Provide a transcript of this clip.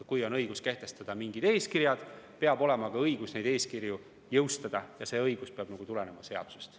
Kui on õigus kehtestada mingid eeskirjad, siis peab olema ka õigus neid eeskirju jõustada, ja see õigus peab tulenema seadusest.